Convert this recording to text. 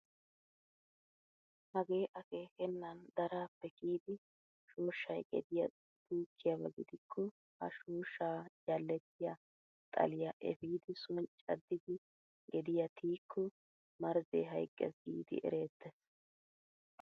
Hagee akeekennan daraappe kiyidi shooshay gediyaa puukkiyaaba gidikko ha "shooshshaa jalletiyaa" xaliyaa epiidi soni caddidi gediyaa tiyikko marzee hayqqees giidi erettees!